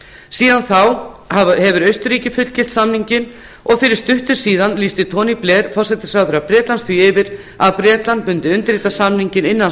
síðan þá hefur austurríki fullgilt samninginn og fyrir stuttu síðan lýsti tony blair forsætisráðherra bretlands því yfir að bretland mundi undirrita samninginn innan